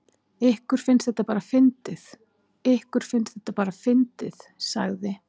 Ykkur finnst þetta bara fyndið, ykkur finnst þetta bara fyndið sagði